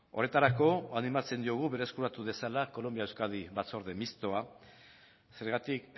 horretarako animatzen diogu berreskuratu dezala kolonbia euskadi batzorde mistoa zergatik